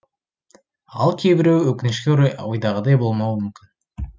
ал кейбіреуі өкінішке орай ойдағыдай болмауы мүмкін